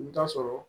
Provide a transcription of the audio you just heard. I bɛ taa sɔrɔ